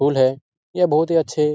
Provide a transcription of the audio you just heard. फूल है। यह बहुत ही अच्छे --